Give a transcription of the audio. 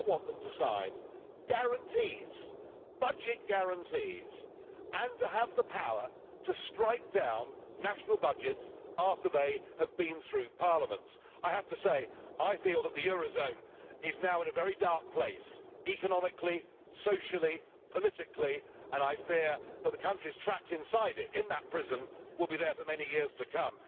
You now want them to sign budget guarantees and to have the power to strike down national budgets after they have been through parliaments. I have to say I feel that the eurozone is now in a very dark place economically, socially and politically, and I fear that the countries trapped inside it, in that prison, will be there for many years to come.